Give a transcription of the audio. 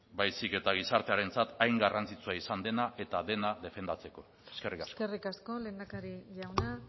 baizik eta gizartearentzat hain garrantzitsua izan dena eta dena defendatzeko eskerrik asko eskerrik asko lehendakari jauna